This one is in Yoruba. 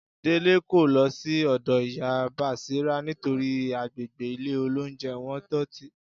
Délé kò lọ sí ọ̀dọ́ Ìyá Bàṣírá nítorí àgbègbè ilé-olóunjẹ wọn dọ̀tí